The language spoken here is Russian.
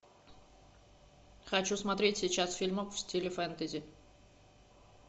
хочу смотреть сейчас фильмок в стиле фэнтези